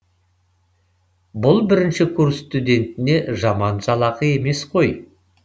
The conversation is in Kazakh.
бұл бірінші курс студентіне жаман жалақы емес қой